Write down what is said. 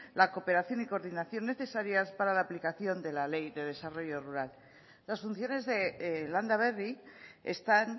la cooperación y coordinación necesarias para la aplicación de la ley de desarrollo rural en las funciones de landaberri están